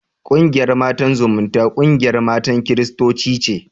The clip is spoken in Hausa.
Ƙungiyar Matan Zumunta, ƙungiyar matan kiristoci ce.